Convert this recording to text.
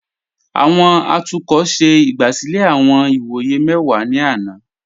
Awọn atukọ ṣẹ igbásílẹ̀ awọn ìwọyẹ̀ mẹ́wà ni àná.